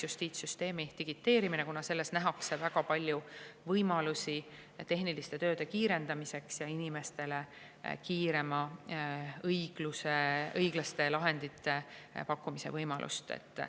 Justiitssüsteemi digiteerimises nähakse väga palju võimalusi tehniliste tööde kiirendamiseks ja inimestele õiglaste lahendite kiiremaks pakkumiseks.